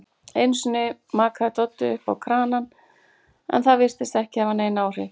Einusinni makaði Doddi sápu á kranann en það virtist ekki hafa nein áhrif.